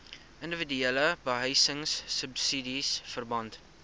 indiwiduele behuisingsubsidies verband